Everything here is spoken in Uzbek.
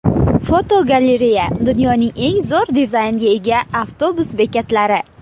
Fotogalereya: Dunyoning eng zo‘r dizaynga ega avtobus bekatlari.